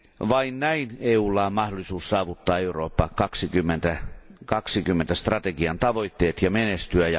Vain näin EUlla on mahdollisuus saavuttaa Eurooppa 2020 strategian tavoitteet ja menestyä.